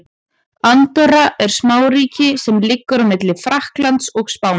Andorra er smáríki sem liggur á milli Frakklands og Spánar.